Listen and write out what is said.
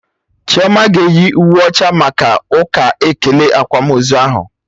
Chioma ga-eyi uwe ọcha maka ụka ekele akwamozu ahụ